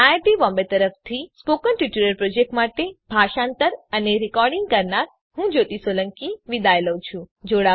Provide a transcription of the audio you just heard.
iit Bombay તરફથી spoken tutorial project માટે ભાષાંતર કરનાર હું જ્યોતી સોલંકી વિદાય લઉં છું